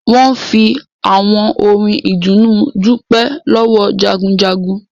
Wọn fi àwọn orin ìdùnnú dupe lọ́wọ́ Jagunjagun